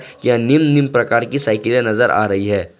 यह निम्न निम्न प्रकार की साइकिले नजर आ रही है।